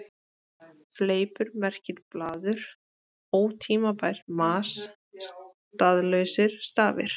Fleipur merkir blaður, ótímabært mas, staðlausir stafir.